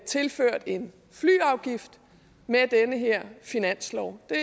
tilført en flyafgift med den her finanslov det